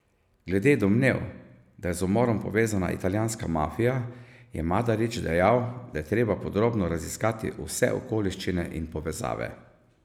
Glede domnev, da je z umorom povezana italijanska mafija, je Madarič dejal, da je treba podrobno raziskati vse okoliščine in povezave.